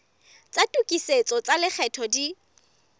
tsa tokisetso tsa lekgetho di